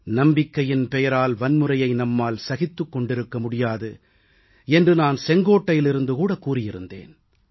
நம்பிக்கை பெயரால் வன்முறையை நம்மால் சகித்துக் கொண்டிருக்க முடியாது என்று நான் செங்கோட்டையிலிருந்து கூட கூறியிருந்தேன்